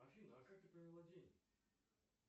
афина а как ты провела день